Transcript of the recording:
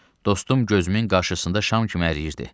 Dostum gözümün qarşısında şam kimi əriyirdi.